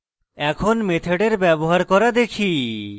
এখন মেথডের ব্যবহার করা দেখি